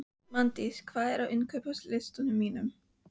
Magndís, hvað er á innkaupalistanum mínum?